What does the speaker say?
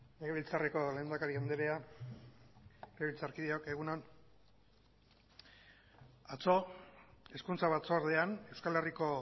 legebiltzarreko lehendakari andrea legebiltzarkideok egun on atzo hezkuntza batzordean euskal herriko